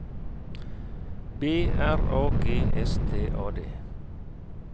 B R A G S T A D